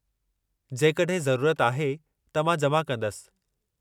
जेकॾहिं ज़रूरत आहे, त मां जमा कंदसि।